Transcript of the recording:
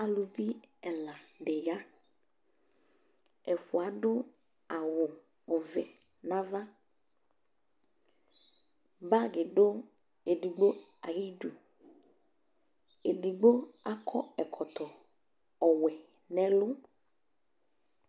Alʋvi ɛla di ya Ɛfua adʋ awʋ ɔvɛ nava Bagi dʋ ɛdigbo ayidu Edigbo akɔ ɛkɔtɔ ɔwɛ nʋ ɛlʋ